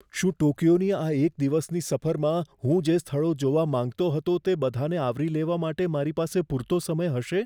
શું ટોક્યોની આ એક દિવસની સફરમાં હું જે સ્થળો જોવા માંગતો હતો તે બધાંને આવરી લેવા માટે મારી પાસે પૂરતો સમય હશે?